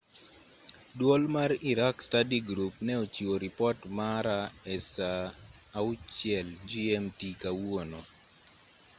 duol mar iraq study group ne ochiwo ripot mare e saa 12.00 gmt kawuono